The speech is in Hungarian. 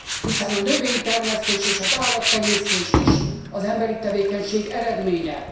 Hiszen a növénytermesztés és az állattenyésztés is az emberi tevékenység eredménye.